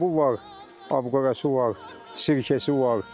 Doşabı var, abqorası var, sirkəsi var.